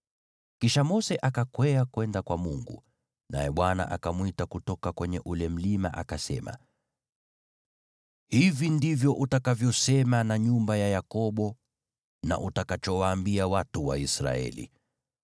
Kisha Mose akakwea kwenda kwa Mungu, naye Bwana akamwita kutoka kwenye ule mlima akasema, “Hivi ndivyo utakavyosema na nyumba ya Yakobo na utakachowaambia watu wa Israeli: